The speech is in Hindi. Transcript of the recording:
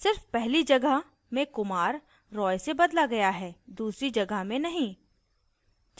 सिर्फ पहली जगह में kumar roy से बदला गया है दूसरी जगह में नहीं